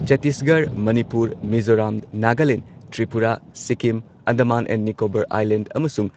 Chhattisgarh, Manipur, Mizoram, Nagaland, Tripura, Sikkim Andaman and Nicobar Island ꯑꯃꯁꯨꯡ